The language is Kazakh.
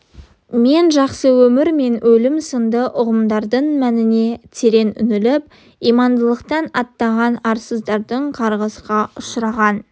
мен жақсы өмір мен өлім сынды ұғымдардың мәніне терең үңіліп имандылықтан аттаған арсыздардың қарғысқа ұшыраған